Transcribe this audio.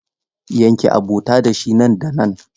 Yanke abota da shi nan da nan!